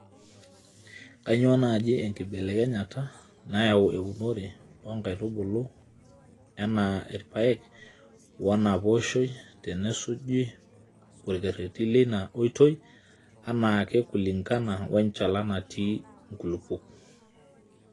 Kainyioo naaji enkibelekenyata nayau eunore oo nkaitubulu enaa irpaek woinapooshoi tenesuju orkereti leina oitoi anaake kulinkana we nchalan natii nkulupuok.